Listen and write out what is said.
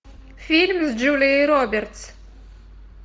фильм с джулией робертс